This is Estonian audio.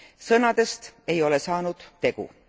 Sõnadest ei ole saanud tegu.